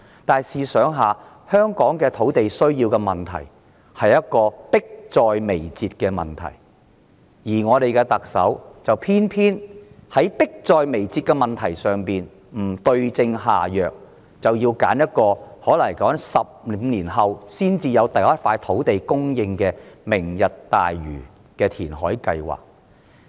但試想想，香港土地短缺是迫在眉睫的問題，而我們的特首偏偏在這個迫在眉睫的問題上不對症下藥，反而採用可能要15年後才能提供首幅土地的"明日大嶼"填海計劃。